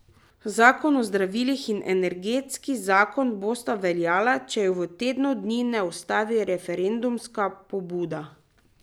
Zakon o zdravilih in energetski zakon bosta obveljala, če ju v tednu dni ne ustavi referendumska pobuda.